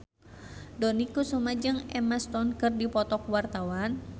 Dony Kesuma jeung Emma Stone keur dipoto ku wartawan